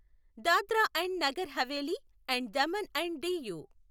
Dadra and Nagar Haveli and Daman and DU